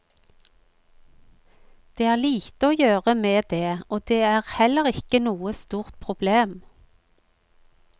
Det er lite å gjøre med det, og det er heller ikke noe stort problem.